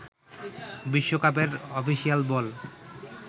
বিশ্বকাপের অফিসিয়াল বল